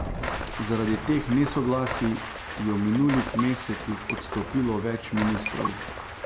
Zaradi teh nesoglasij je v minulih mesecih odstopilo več ministrov.